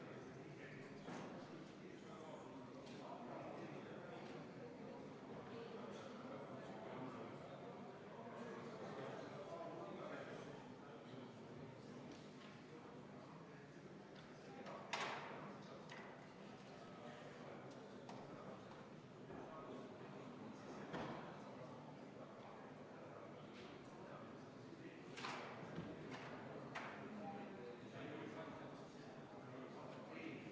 Vastuseks kuulsime, et praegu lükatakse kohustust viie aasta võrra edasi rongireisijate õiguste ja kohustuste määrusega, kuid määrus on muutmisel ja Euroopa Liidu õiguses lisandub veel asju, mida tuleb rakendada, viie aasta jooksul määrus kindlasti muutub ja muutuvad ka artiklid.